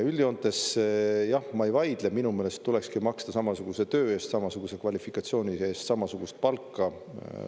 Üldjoontes jah, ma ei vaidle, minu meelest tulekski maksta samasuguse töö eest, samasuguse kvalifikatsiooni eest samasugust palka.